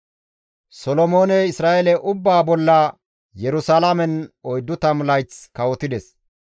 Solomooney Isra7eele ubbaa bolla Yerusalaamen 40 layth kawotides.